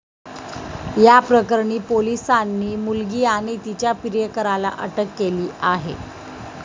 या प्रकरणी पोलिसांनी मुलगी आणि तिच्या प्रियकराला अटक केली आहे.